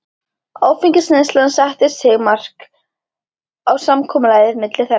Áfengisneyslan setti sitt mark á samkomulagið milli þeirra.